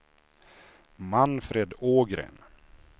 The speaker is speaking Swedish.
Manfred Ågren